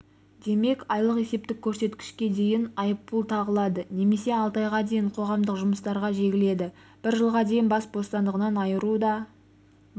демек айлық есептік көрсеткішке дейін айыппұл тағылады немесе алты айға дейін қоғамдық жұмыстарға жегіледі бір жылға дейін бас бостандығынан айыру да